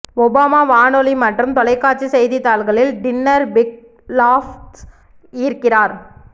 Obama வானொலி மற்றும் தொலைக்காட்சி செய்தித்தாள்களில் டின்னர் பிக் லாஃப்ட்ஸ் ஈர்க்கிறார்